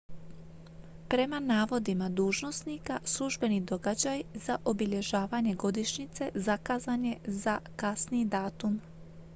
prema navodima dužnosnika službeni događaj za obilježavanje godišnjice zakazan je za kasniji datum